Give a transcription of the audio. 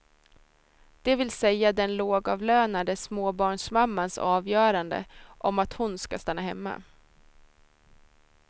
Det vill säga den lågavlönade småbarnsmammans avgörande om att hon ska stanna hemma.